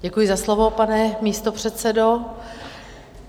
Děkuji za slovo, pane místopředsedo.